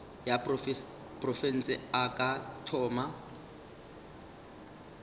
ya profense a ka thoma